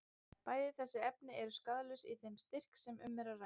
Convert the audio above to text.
Bæði þessi efni eru skaðlaus í þeim styrk sem um er að ræða.